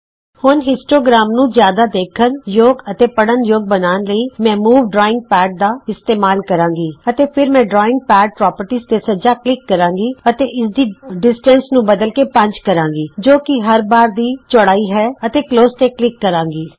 ਹੁਣ ਹਿਸਟੋਗ੍ਰਾਮ ਨੂੰ ਜਿਆਦਾ ਦੇਖਣ ਯੋਗ ਅਤੇ ਪੜ੍ਹਨ ਯੋਗ ਬਣਾਉਣ ਲਈ ਮੈਂ ਮੂਵ ਡਰਾਈਂਗ ਪੈਡ ਦਾ ਇਸਤੇਮਾਲ ਕਰਾਂਗੀਅਤੇ ਫਿਰ ਮੈਂ ਡਰਾਈਂਗ ਪੈਡ ਪੋ੍ਰਪਰਟੀਜ਼ ਤੇ ਸੱਜਾ ਕਲਿਕ ਕਰਾਂਗੀ ਅਤੇ ਇਸ ਦੀ ਦੂਰੀ ਨੂੰ ਬਦਲ ਕੇ 5 ਕਰਾਂਗੀ ਜੋ ਕਿ ਹਰ ਬਾਰ ਦੀ ਚੌੜਾਈ ਹੈ ਅਤੇ ਕਲੋਜ਼ ਤੇ ਕਲਿਕ ਕਰਾਂਗੀ